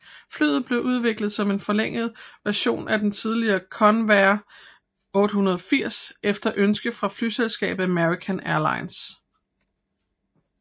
Flyet blev udviklet som en forlænget version af den tidligere Convair 880 efter ønske fra flyselskabet American Airlines